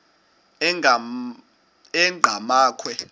enqgamakhwe